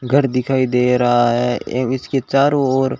घर दिखाई दे रहा है एव इसके चारों ओर--